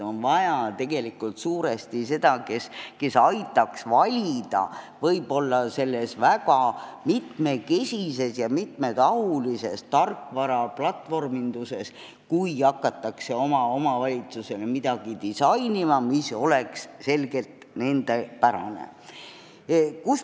On vaja kedagi, kes aitaks valida selles väga mitmekesises ja mitmetahulises tarkvaraplatvorminduses, kui hakatakse oma omavalitsusele midagi disainima, nii et see oleks selgelt nendepärane.